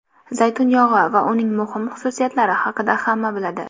Zaytun yog‘i va uning muhim xususiyatlari haqida hamma biladi.